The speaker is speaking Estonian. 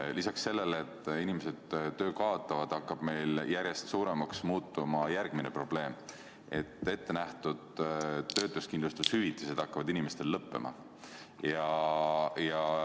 Lisaks sellele, et inimesed kaotavad töö, hakkab meil järjest suuremaks muutuma järgmine probleem: ettenähtud töötuskindlustushüvitised hakkavad lõppema.